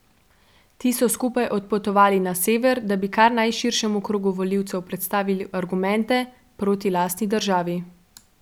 Ti so skupaj odpotovali na sever, da bi kar najširšemu krogu volivcev predstavili argumente proti lastni državi.